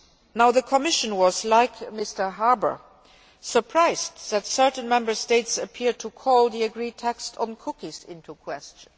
Now the Commission was, like Mr Harbour, surprised that certain Member States appeared to call the agreed text on cookies into question.